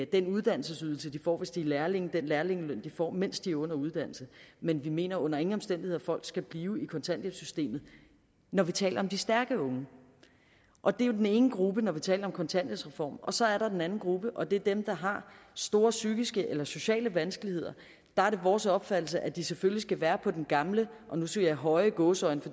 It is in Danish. den uddannelsesydelse de får hvis de er lærlinge den lærlingeløn de får mens de er under uddannelse men vi mener under ingen omstændigheder at folk skal blive i kontanthjælpssystemet når vi taler om de stærke unge og det er jo den ene gruppe når vi taler om kontanthjælpsreform så er der den anden gruppe og det er dem der har store psykiske eller sociale vanskeligheder der er det vores opfattelse at de selvfølgelig skal være på den gamle og nu siger jeg høje i gåseøjne